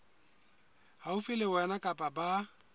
haufi le wena kapa ba